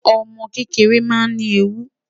Ọmọ kekere naa ni eewu